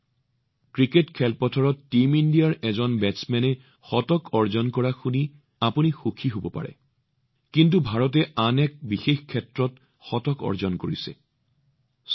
আপোনালোক ক্ৰিকেটৰ খেলপথাৰত টীম ইণ্ডিয়াৰ এজন বেটছমেনৰ শতকৰ শুনি সুখী হব পাৰে কিন্তু ভাৰতে আন এক ক্ষেত্ৰত শতক অৰ্জন কৰিছে আৰু সেয়া অতিশয় বিশেষ